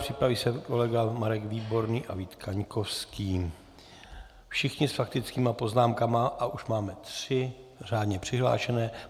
Připraví se kolega Marek Výborný a Vít Kaňkovský, všichni s faktickými poznámkami a už máme tři řádně přihlášené.